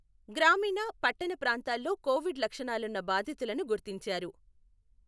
గ్రామీన, పట్టణ ప్రాంతాల్లో కోవిడ్ లక్షణాలున్న బాధితులను గుర్తించారు.